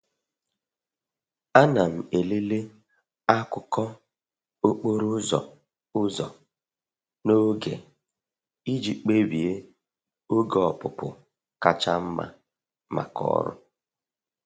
Ana m elele akụkọ okporo ụzọ ụzọ n'oge iji kpebie oge ọpụpụ kacha mma maka ọrụ.